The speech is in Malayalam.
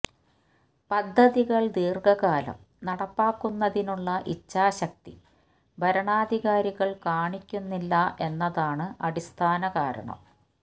പദ്ധതികൾ ദീർഘകാലം നടപ്പാക്കുന്നതിനുള്ള ഇഛാശക്തി ഭരണാധികാരികൾ കാണിക്കുന്നില്ല എന്നതാണ് അടിസ്ഥാന കാരണം